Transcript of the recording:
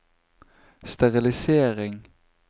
sterilisering